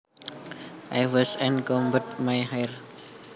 I washed and combed my hair